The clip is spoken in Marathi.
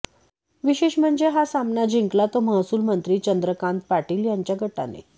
विशेष म्हणजे हा सामना जिंकला तो महसूल मंत्री चंद्रकांत पाटील यांच्या गटाने